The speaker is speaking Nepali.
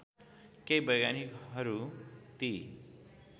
केही वैज्ञानिकहरू ती